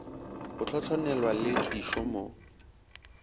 go hlohlonelwa le dišo mo